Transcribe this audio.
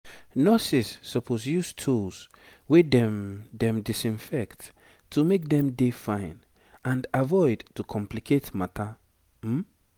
nurses suppose use tools wey dem dem disinfect to make dem dey fine and avoid to complicate matter um